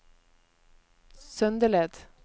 Søndeled